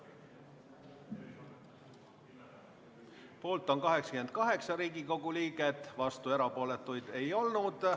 Hääletustulemused Poolt on 88 Riigikogu liiget, vastuolijaid ja erapooletuid ei olnud.